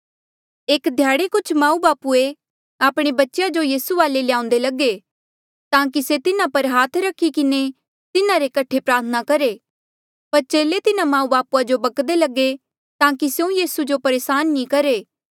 एक ध्याड़े कुछ माऊबापू आपणे बच्चेया जो यीसू वाले ल्याउंदे लगे ताकि से तिन्हा पर हाथ रखी किन्हें तिन्हारे कठे प्रार्थना करहे पर चेले तिन्हा माऊबापू जो बक्कदे लगे ताकि स्यों यीसू जो परेसान नी करहे